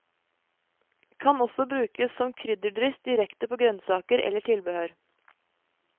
Kan også brukes som krydderdryss direkte på grønnsaker eller tilbehør.